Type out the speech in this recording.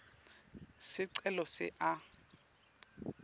sicelo se a